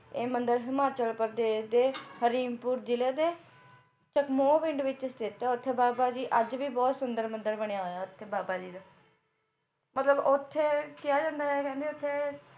ਇਹ ਮੰਦਿਰ ਹਿਮਾਚਲ ਪ੍ਰਦੇਸ਼ ਦੇ ਹਰੀਮਪੁਰ ਜਿਲ੍ਹੇ ਦੇ ਚਕਮੋਹ ਪਿੰਡ ਵਿੱਚ ਸਥਿਤ ਆ ਉੱਥੇ ਬਾਬਾ ਜੀ ਦਾ ਅੱਜ ਵੀ ਬਹੁਤ ਸੁੰਦਰ ਮੰਦਿਰ ਬਣਿਆ ਹੋਇਆ ਓਥੇ ਬਾਬਾ ਜੀ ਦਾ ਮਤਲਬ ਓਥੇ ਕਿਹਾ ਜਾਂਦਾ ਕਹਿੰਦੇ ਓਥੇ